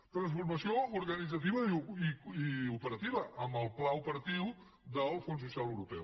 transformació organitzativa i operativa amb el pla operatiu del fons social europeu